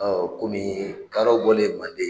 komii kadɔw bɔlen Manden